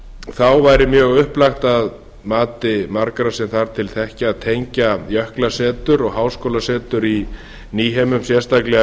þá væri mjög upplagt að mati margra sem þar til þekkja að tengja jöklasetur og háskólasetur í nýheimum sérstaklega